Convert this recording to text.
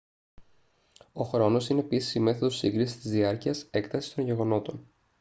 ο χρόνος είναι επίσης η μέθοδος σύγκρισης της διάρκειας έκτασης των γεγονότων